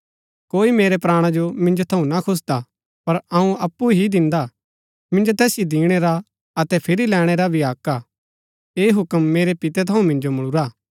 कोई मेरै प्राणा जो मिन्जो थऊँ ना खुसदा पर अऊँ अप्पु ही दिन्दा हा मिन्जो तैसिओ दिणै रा अतै फिरी लैणै रा हक भी हा ऐह हूक्म मेरै पिते थऊँ मिन्जो मुळुरा